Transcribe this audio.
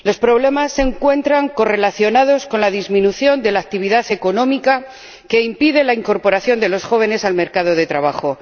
Los problemas se encuentran correlacionados con la disminución de la actividad económica, que impide la incorporación de los jóvenes al mercado de trabajo.